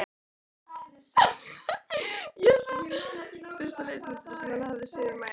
Fyrsta litmyndin sem hann hafði séð um ævina.